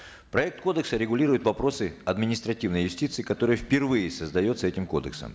проект кодекса регулирует вопросы административной юстиции которая впервые создается этим кодексом